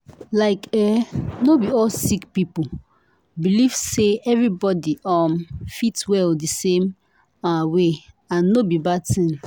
like eeh no be all sick people believe say everybody um fit well di same ah way and no be bad tin.